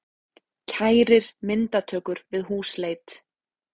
Kærir myndatökur við húsleit